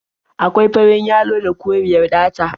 Akwai farin yalo da koriyar ɗata.